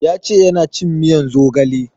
Ya ce yana cin miyan zogale